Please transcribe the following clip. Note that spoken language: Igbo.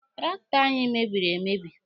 Traktọ anyị mebiri emebi.